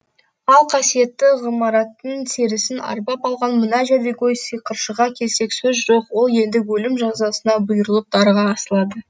ал қасиетті ғимараттың серісін арбап алған мына жәдігөй сиқыршыға келсек сөз жоқ ол енді өлім жазасына бұйырылып дарға асылады